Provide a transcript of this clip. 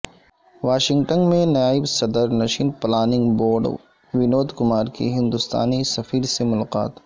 Washington میں نائب صدر نشین پلاننگ بورڈ ونود کمار کی ہندوستانی سفیر سے ملاقات